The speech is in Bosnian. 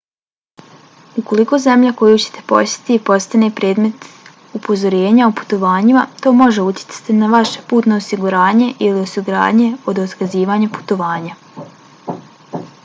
ukoliko zemlja koju ćete posjetiti postane predmet upozorenja o putovanjima to može utjecati na vaše putno osiguranje ili osiguranje od otkazivanja putovanja